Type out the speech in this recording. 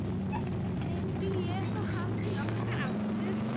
Myndi ég fá hann til okkar aftur?